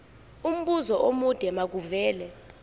umbuzo omude makuvele